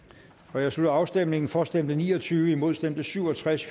jeg slutter afstemningen for stemte ni og tyve imod stemte syv og tres